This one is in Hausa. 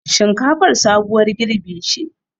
Shinkafar sabuwar girɓi ce